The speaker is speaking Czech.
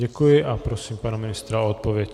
Děkuji a prosím pana ministra o odpověď.